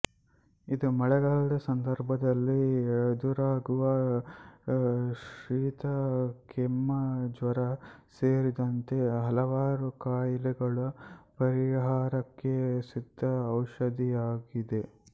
ಇದು ಮಳೆಗಾಲದ ಸಂದರ್ಭದಲ್ಲಿ ಎದುರಾಗುವ ಶೀತ ಕೆಮ್ಮು ಜ್ವರ ಸೇರಿದಂತೆ ಹಲವಾರು ಕಾಯಿಲೆಗಳ ಪರಿಹಾರಕ್ಕೆ ಸಿದ್ಧ ಔಷಧಿಯಾಗಿದೆ